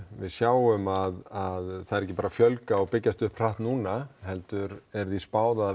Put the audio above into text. við sjáum að það er ekki bara að fjölgast og byggjast upp hratt núna heldur er því spáð að það